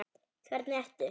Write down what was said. Hvernig ertu?